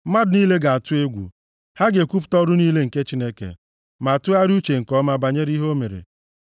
Mmadụ niile ga-atụ egwu, ha ga-ekwupụta ọrụ niile nke Chineke, ma tụgharịa uche nke ọma banyere ihe o mere.